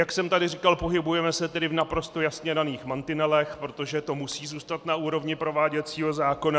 Jak jsem tady říkal, pohybujeme se tedy v naprosto jasně daných mantinelech, protože to musí zůstat na úrovni prováděcího zákona.